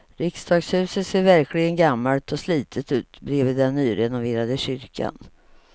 Riksdagshuset ser verkligen gammalt och slitet ut bredvid den nyrenoverade kyrkan.